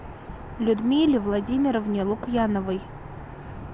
людмиле владимировне лукьяновой